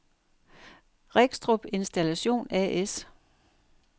Regstrup Installation A/S